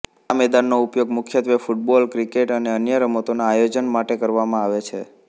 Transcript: આ મેદાનનો ઉપયોગ મુખ્યત્વે ફૂટબોલ ક્રિકેટ અને અન્ય રમતોના આયોજન માટે કરવામાં આવે છે